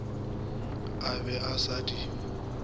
a be a sa di